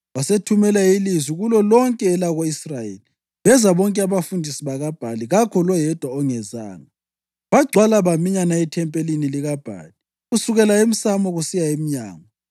Wasethumela ilizwi kulolonke elako-Israyeli, beza bonke abafundisi bakaBhali; kakho loyedwa ongezanga. Bagcwala baminyana ethempelini likaBhali kusukela emsamo kusiya emnyango.